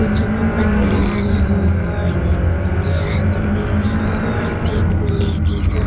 कुछो के पंडाल हई उते आदमी हई तीन गो लेडीज --